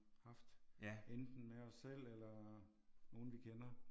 Haft. Enten med os selv eller nogen vi kender